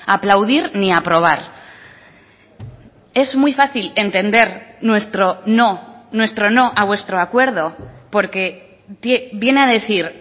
aplaudir ni aprobar es muy fácil entender nuestro no nuestro no a vuestro acuerdo porque viene a decir